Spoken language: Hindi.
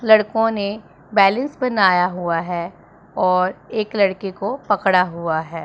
लड़कों ने बैलेंस बनाया हुआ है और एक लड़के को पकड़ा हुआ है।